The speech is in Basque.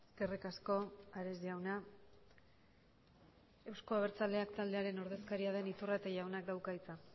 eskerrik asko ares jauna euzko abertzaleak taldearen ordezkaria den iturrate jaunak dauka hitza